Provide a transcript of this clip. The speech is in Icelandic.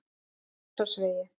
Grensásvegi